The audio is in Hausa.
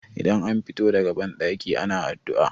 idan an fito daga bandaki ana addu'a